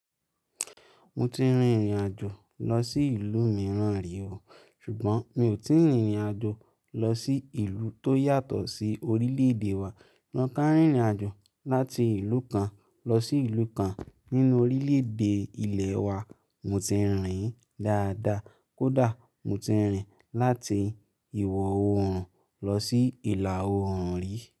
Mo ti rìnrìn àjò lọ sí ìlú mìíràn rí wò, ṣùgbọ́n mi ò tíì rìnrìn àjò lọ sí ìlú tó yàtọ̀ sí orílẹ̀-èdè wa. Ríńká rìnrìn àjò láti ìlú kan lọ sí ìlú kan nínú orílẹ̀-èdè ilẹ̀ wa mo ti rìnrìn dáadáa. Kódà mo ti rìnrìn láti ìwọ̀-oòrùn lọ sí ìlà-oòrùn rí.